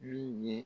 Min ye